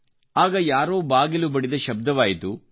ಆಗ ಯಾರೋ ಬಾಗಿಲು ಬಡಿದ ಶಬ್ದವಾಯಿತು